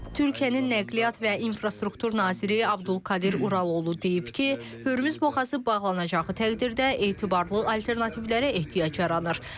Türkiyənin nəqliyyat və infrastruktur naziri Abdulkadir Uraloğlu deyib ki, Hörmüz boğazı bağlanacağı təqdirdə etibarlı alternativlərə ehtiyac yaranır.